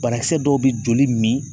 Banakisɛ dɔw bɛ joli min.